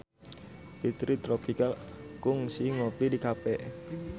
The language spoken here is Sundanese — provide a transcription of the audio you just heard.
Fitri Tropika kungsi ngopi di cafe